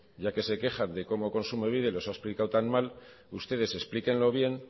ya que se quejan de cómo kontsumobide los ha explicado tan mal ustedes explíquenlo bien